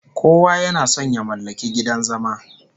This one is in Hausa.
Kowa yana son ya mallaki gidan zama